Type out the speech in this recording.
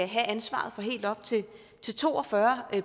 have ansvaret for helt op til to og fyrre